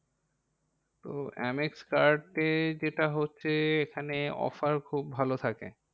তো Amex card তে যেটা হচ্ছে এখানে offer খুব ভালো থাকে।